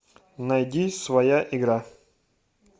найди своя игра